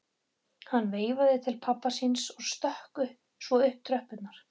Hann veifaði til pabba síns og stökk svo upp tröppurnar.